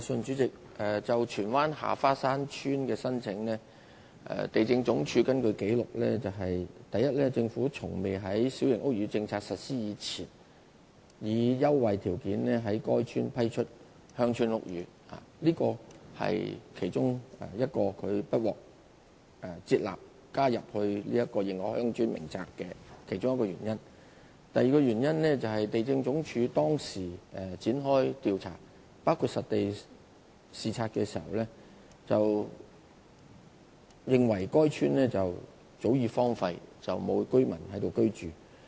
主席，就荃灣下花山村的申請，根據地政總署的紀錄，第一個原因是，政府從未在新界小型屋宇政策實施前，以優惠條件批出在該處興建鄉村屋宇。這是它不獲接納列入《認可鄉村名冊》的其中一個原因。第二個原因是，地政總署當時曾展開調查，包括進行實地視察，認為該村早已荒廢，沒有居民在該處居住。